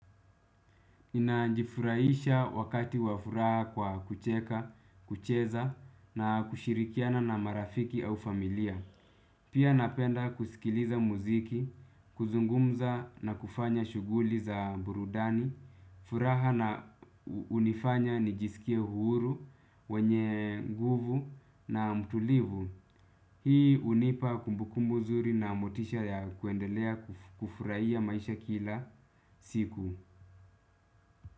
Ninajifurahisha wakati wa furaha kwa kucheka, kucheza na kushirikiana na marafiki au familia. Pia napenda kusikiliza muziki, kuzungumza na kufanya shughuli za burudani. Furaha na hunifanya nijisikie huru, mwenye nguvu na mtulivu. Hii hunipa kumbukumbu zuri na motisha ya kuendelea kufurahia maisha kila siku.